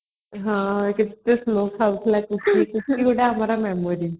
ହଁ ସେ କେତେ slow ଖାଉଥିଲା kurkuri ଗୋଟେ ଆମର memory